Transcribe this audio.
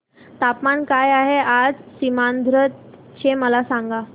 तापमान काय आहे आज सीमांध्र चे मला सांगा